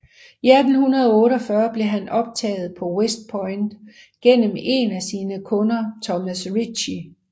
I 1848 blev han optaget på West Point gennem en af sine kunder Thomas Ritchey